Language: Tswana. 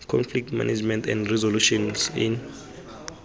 conflict management and resolutions in